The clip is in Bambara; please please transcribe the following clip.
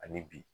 Ani bi